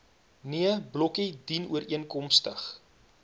nee blokkie dienooreenkomstig